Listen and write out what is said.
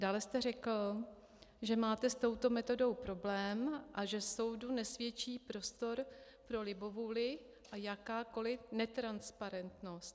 Dále jste řekl, že máte s touto metodou problém a že soudu nesvědčí prostor pro libovůli a jakákoli netransparentnost.